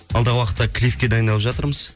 алдағы уақытта клипке дайындалып жатырмыз